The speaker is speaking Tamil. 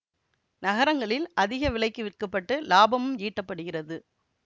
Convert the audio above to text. நகரங்களில் அதிக விலைக்கு விற்கப்பட்டு இலாபமும் ஈட்டப்படுகிறது